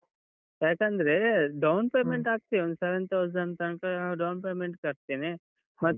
ಯಾಕಂದ್ರ, down payment ಹಾಕ್ತೇವೆ ಒಂದು seven thousand ತನ್ಕ ಅಹ್ down payment ಕಟ್ತೇನೆ, ಮತ್ತೆ.